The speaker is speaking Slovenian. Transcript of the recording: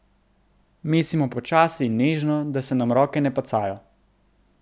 Mesimo počasi in nežno, da se nam roke ne pacajo.